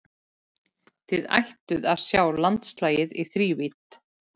Þá ættuð þið að sjá landslagið í þrívídd.